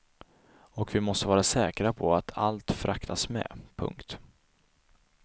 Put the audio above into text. Och vi måste vara säkra på att allt fraktas med. punkt